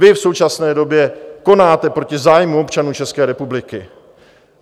Vy v současné době konáte proti zájmu občanů České republiky.